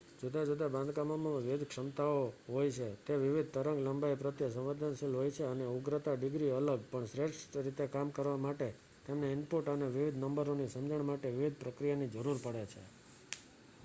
જુદા જુદા બાંધકામોમાં વિવિધ ક્ષમતાઓ હોય છે તે વિવિધ તરંગ-લંબાઈ પ્રત્યે સંવેદનશીલ હોય છે અને ઉગ્રતા ડિગ્રી અલગ પણ શ્રેષ્ઠ રીતે કામ કરવા માટે તેમને ઇનપુટ અને વિવિધ નંબરોની સમજણ માટે વિવિધ પ્રક્રિયાની જરૂર પડે છે